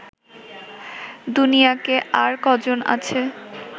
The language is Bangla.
দুনিয়াতে আর কজন আছে